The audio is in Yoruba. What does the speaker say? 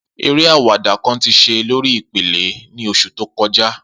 Ere awada kan ti ṣe lori ipele ni oṣu to kọja.